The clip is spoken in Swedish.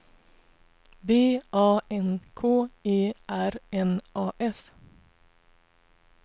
B A N K E R N A S